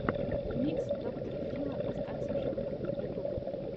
ремикс доктора фила остаться в живых ютюб